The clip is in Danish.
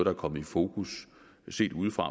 er kommet i fokus set ude fra